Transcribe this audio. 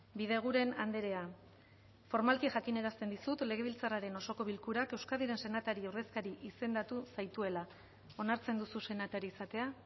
bideguren andrea formalki jakinarazten dizut legebiltzarraren osoko bilkurak euskadiren senatari ordezkari izendatu zaituela onartzen duzu senatari izatea